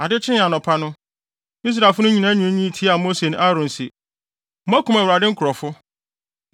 Ade kyee anɔpa no, Israelfo no nyinaa nwiinwii tiaa Mose ne Aaron se, “Moakum Awurade nkurɔfo.”